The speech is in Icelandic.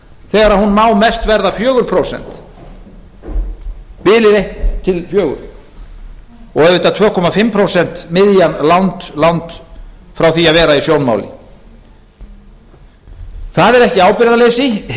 þegar hún má mest verða fjögur prósent bilið eitt til fjögurra og auðvitað tvö og hálft prósent miðjan langt langt frá því að vera í sjónmáli það er ekki ábyrgðarleysi hitt er